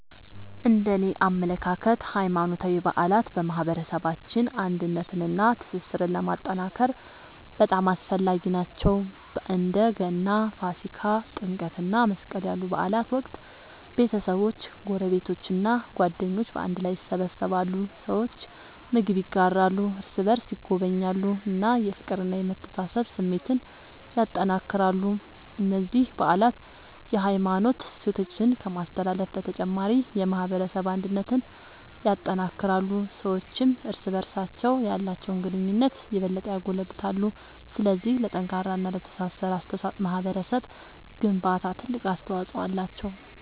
እነደኔ አመለካከት ሃይማኖታዊ በዓላት በማህበረሰባችን አንድነትንና ትስስርን ለማጠናከር በጣም አስፈላጊ ናቸው። በእንደ ገና፣ ፋሲካ፣ ጥምቀት እና መስቀል ያሉ በዓላት ወቅት ቤተሰቦች፣ ጎረቤቶች እና ጓደኞች በአንድ ላይ ይሰበሰባሉ። ሰዎች ምግብ ይጋራሉ፣ እርስ በርስ ይጎበኛሉ እና የፍቅርና የመተሳሰብ ስሜትን ያጠናክራሉ። እነዚህ በዓላት የሃይማኖት እሴቶችን ከማስተላለፍ በተጨማሪ የማህበረሰብ አንድነትን ያጠናክራሉ። ሰዎችም እርስ በርስ ያላቸውን ግንኙነት የበለጠ ያጎለብታሉ። ስለዚህ ለጠንካራና ለተሳሰረ ማህበረሰብ ግንባታ ትልቅ አስተዋጽኦ አላቸው።